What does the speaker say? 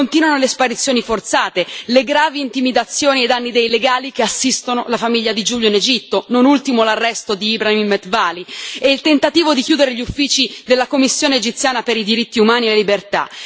Continuano le sparizioni forzate, le gravi intimidazioni ai danni dei legali che assistono la famiglia di Giulio in Egitto, non ultimo l'arresto di Ibrahim Metwaly, e il tentativo di chiudere gli uffici della Commissione egiziana per i diritti umani e le libertà.